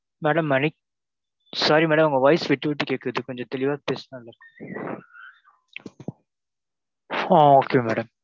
Madam sorry madam உங்க voice விட்டு விட்டு கேக்குது கொஞ்ச தெளிவா பேசுனா நல்லது ஆஹ் okay madam.